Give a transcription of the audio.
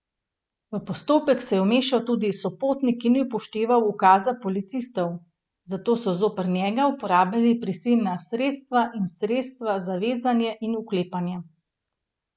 V postopek se je vmešal tudi sopotnik, ki ni upošteval ukazov policistov, zato so zoper njega uporabili prisilna sredstva in sredstva za vezanje in vklepanje.